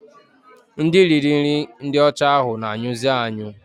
Ndị riri nri ndị ọcha ahụ na-anyụzi anyụ